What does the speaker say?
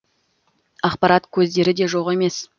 ақпарат көздері де жоқ емес